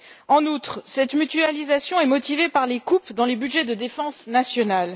En outre, cette mutualisation est motivée par les coupes dans les budgets de défense nationale.